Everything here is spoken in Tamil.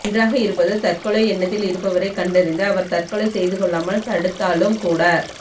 ஒன்றாக இருப்பது தற்கொலை எண்ணத்தில் இருப்பவரைக் கண்டறிந்து அவர் தற்கொலை செய்து கொள்ளாமல் தடுத்தாலும் கூட